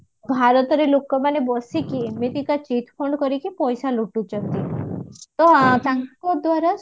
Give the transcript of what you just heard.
ଭାରତରେ ଲୋକ ମାନେ ବସିକି ଏମିତିକା cheat fund କରିକି ପଇସା ଲୁଟୁଛନ୍ତି ତ ତାଙ୍କ ଦ୍ଵାରା